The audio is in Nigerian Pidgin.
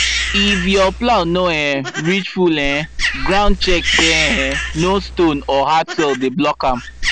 if your plow no um reach full um ground check say um no stone or hard soil dey block am